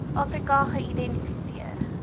afri ka geïdentifiseer